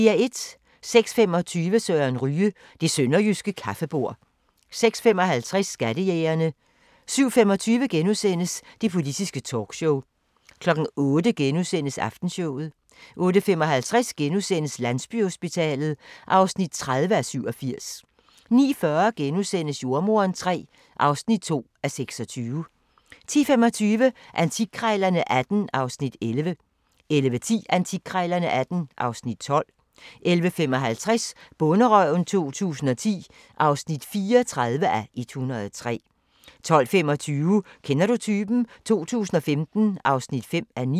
06:25: Søren Ryge: Det sønderjyske kaffebord 06:55: Skattejægerne 07:25: Det politiske talkshow * 08:00: Aftenshowet * 08:55: Landsbyhospitalet (30:87)* 09:40: Jordemoderen III (2:26)* 10:25: Antikkrejlerne XVIII (Afs. 11) 11:10: Antikkrejlerne XVIII (Afs. 12) 11:55: Bonderøven 2010 (34:103) 12:25: Kender du typen? 2015 (5:9)